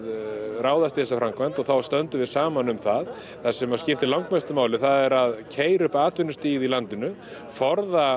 ráðast í þessa framkvæmd og þá stöndum við saman um það það sem skiptir mestu máli er að keyra upp atvinnustigið í landinu og forða